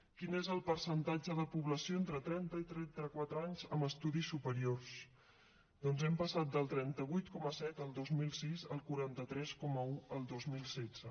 quin és el percentatge de població entre trenta i trenta quatre anys amb estudis superiors doncs hem passat del trenta vuit coma set el dos mil sis al quaranta tres coma un el dos mil setze